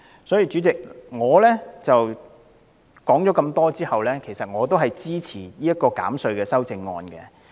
所以，主席，我雖然說了很多，但其實也支持這項有關減稅的修正案。